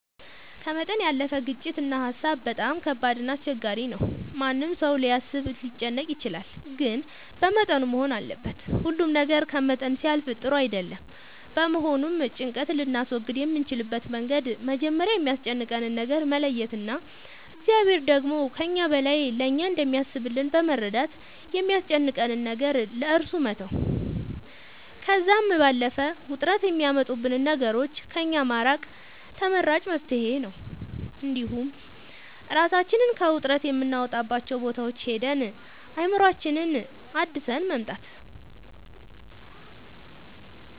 ከመጠን ያለፈ ጭንቀት እና ሀሳብ በጣም ከባድ እና አስቸጋሪ ነው ማንም ሰው ሊያስብ ሊጨነቅ ይችላል ግን በመጠኑ መሆን አለበት ሁሉ ነገር ከመጠን ሲያልፍ ጥሩ አይደለም በመሆኑም ጭንቀት ልናስወግድ የምንችልበት መንገድ መጀመሪያ የሚያስጨንቀንን ነገር መለየት እና እግዚአብሔር ደግሞ ከእኛ በላይ ለእኛ እንደሚያስብልን በመረዳት የሚያስጨንቀንን ነገር ለእሱ መተው ከዛም ባለፈ ውጥረት የሚያመጡብንን ነገሮች ከእኛ ማራቅ ተመራጭ መፍትሄ ነው እንዲሁም እራሳችንን ከውጥረት የምናወጣባቸው ቦታዎች ሄደን አእምሮአችንን አድሰን መምጣት